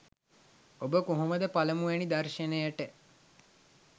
ඔබ කොහොම ද පළමු වැනි දර්ශනයට